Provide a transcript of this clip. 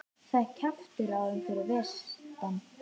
Það er kjaftur á þeim fyrir vestan.